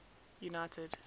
united